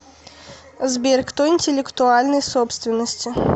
сбер кто интеллектуальной собственности